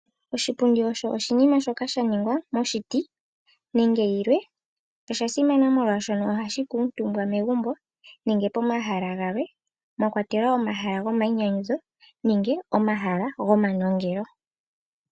Oshipundi osho oshinima shoka sha ningwa moshiti, nenge yilwe. Osha simana molwaashoka ohashi kuuntumbwa megumbo nenge pomahala galwe, mwa kwatelwa omahala gomainyanyudho nenge gomanongelo.